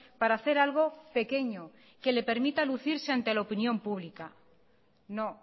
para hacer algo pequeño que le permita lucirse ante la opinión pública no